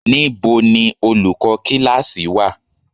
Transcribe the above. Níbo ni olùkọ́ kíláákì wà?